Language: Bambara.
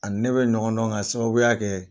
Ani ne bɛ ɲɔgɔn dɔn ka sababuya kɛ